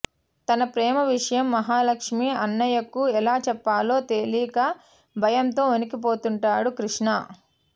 తన ప్రేమ విషయం మహాలక్ష్మీ అన్నయ్యకు ఎలా చెప్పాలో తెలీక భయంతో వణికిపోతుంటాడు కృష్ణ